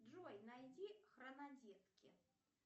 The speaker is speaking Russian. джой найди хронодетки